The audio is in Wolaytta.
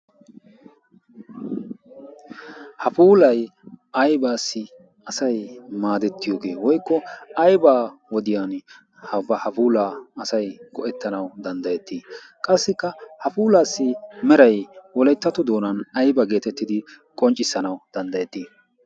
hafuulay aybaassi asay maadettiyoogee woykko aybaa wodiyan hafuulaa asay go'ettanau danddayettii qassikka hafuulaassi meray wolettatu doonan ayba geetettidi qonccissanau danddayettii?